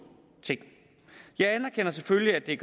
ting jeg anerkender selvfølgelig at det er